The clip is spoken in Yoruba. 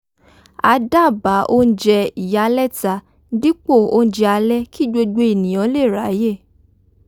a dábàá oúnjẹ ìyálẹ̀ta dípò oúnjẹ alẹ́ kí gbogbo ènìyàn lè ráyè